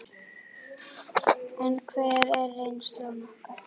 En hver er reynsla okkar?